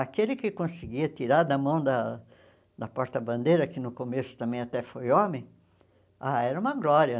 Aquele que conseguia tirar da mão da da porta-bandeira, que no começo também até foi homem, ah era uma glória.